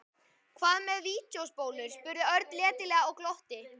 Hvað með vídeóspólur? spurði Örn letilega og glotti.